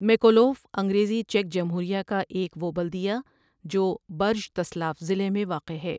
Mikolov انگریزی چیک جمہوریہ کا ایک و بلدیہ جو برژتسلاف ضلع میں واقع ہے۔